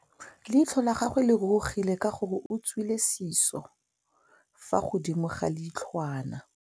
Leitlhô la gagwe le rurugile ka gore o tswile sisô fa godimo ga leitlhwana.